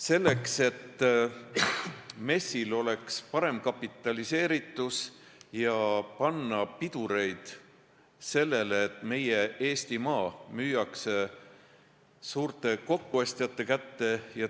Me soovime, et MES-i kapitaliseeritus oleks parem, ja panna piduri sellele, et Eesti maa müüakse suurte kokkuostjate kätte.